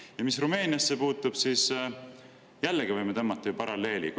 Ja mis Rumeeniasse puutub, siis jällegi võime tõmmata ju paralleeli.